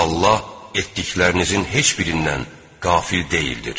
Allah etdiklərinizin heç birindən qafil deyildir.